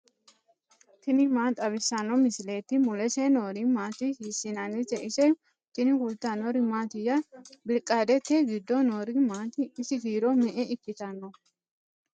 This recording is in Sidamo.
tini maa xawissanno misileeti ? mulese noori maati ? hiissinannite ise ? tini kultannori mattiya? Biriqaadete giddo noori maatti? ise kiiro me'e ikkitanno?